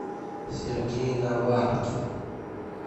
сергей наваркин